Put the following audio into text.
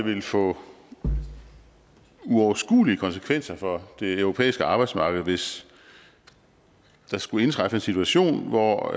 ville få uoverskuelige konsekvenser for det europæiske arbejdsmarked hvis der skulle indtræffe en situation hvor